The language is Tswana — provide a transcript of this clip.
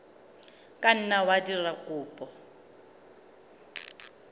ka nna wa dira kopo